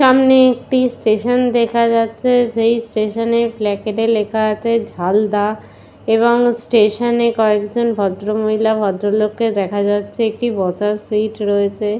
সামনে একটি স্টেশন দেখা যাচ্ছে সেই স্টেশন -এ ফ্ল্যাকেট -এ লেখা আছে ঝালদা এবং স্টেশন -এ কয়েকজন ভদ্রমহিলা ভদ্রলোককে দেখা যাচ্ছে একটি বসার সিট রয়েছে।